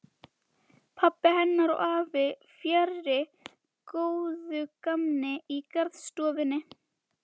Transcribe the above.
Pabbi hennar og afi fjarri góðu gamni í garðstofunni.